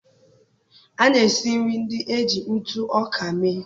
A na-esi nri ndị e ji ntụ ọka mee.